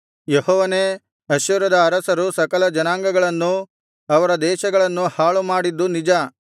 ಯೆಹೋವನೇ ಅಶ್ಶೂರದ ಅರಸರು ಸಕಲ ಜನಾಂಗಗಳನ್ನೂ ಅವರ ದೇಶಗಳನ್ನೂ ಹಾಳು ಮಾಡಿದ್ದು ನಿಜ